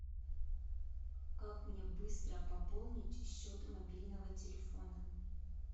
как мне быстро пополнить счет мобильного телефона